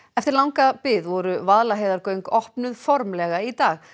eftir langa bið voru Vaðlaheiðargöng opnuð formlega í dag